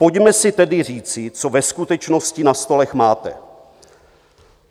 Pojďme si tedy říci, co ve skutečnosti na stolech máte.